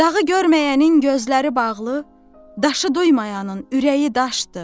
Dağı görməyənin gözləri bağlı, daşı duymayanın ürəyi daşdır.